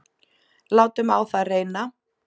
Látum á það reyna!